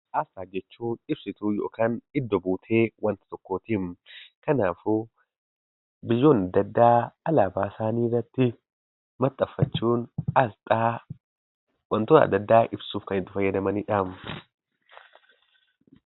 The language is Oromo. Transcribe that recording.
Asxaa jechuun ibsituu yookaan iddo buutee wanta tokkootiim. Kanaafuu biyyoonni adda addaa alaabaa isaanii irratti maxxanfachuun asxaa wantoota adda addaa ibsuuf kan itti fayyadamani dhaam.